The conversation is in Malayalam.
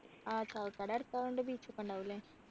ആഹ് ചാവക്കാട് അടുത്തയ കൊണ്ട് beach ഒക്കെ ഉണ്ടകും ല്ലേ